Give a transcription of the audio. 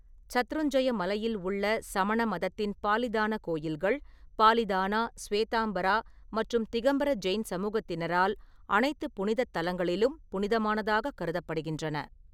சத்ருஞ்ஜய மலையில் உள்ள சமண மதத்தின் பாலிதான கோயில்கள், பாலிதானா, ஸ்வேதம்பரா மற்றும் திகம்பர ஜெயின் சமூகத்தினரால் அனைத்து புனிதத் தலங்களிலும் புனிதமானதாகக் கருதப்படுகின்றன.